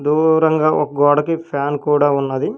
దూరంగా ఒక గోడకి ఫ్యాన్ కూడా ఉన్నది.